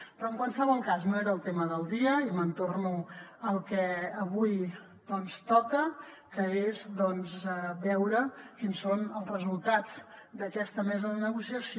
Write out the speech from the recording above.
però en qualsevol cas no era el tema del dia i me’n torno al que avui doncs toca que és veure quins són els resultats d’aquesta mesa de negociació